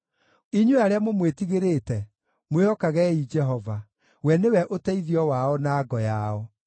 Inyuĩ arĩa mũmwĩtigĩrĩte, mwĩhokagei Jehova: we nĩwe ũteithio wao na ngo yao.